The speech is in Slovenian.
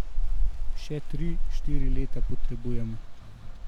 Še tri, štiri leta potrebujem.